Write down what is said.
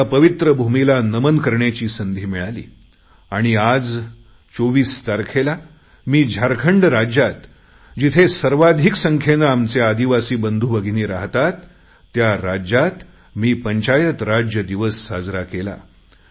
त्या पवित्र भूमीला नमन करण्याची संधी मिळाली आणि आज 24 तारखेला मी झारखंड राज्यात जिथे सर्वाधिक संख्येने आमचे आदिवासी बंधु भगिनी राहतात त्या राज्यात मी पंचायत राज दिवस साजरा करणार आहे